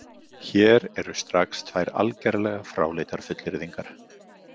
Hér eru strax tvær algerlega fráleitar fullyrðingar.